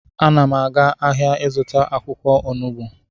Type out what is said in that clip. Ana m aga ahịa ịzụta akwụkwọ onugbu